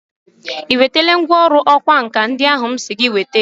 I wetele ngwọrụ ọkwa nka ndi ahụ m si gị wete.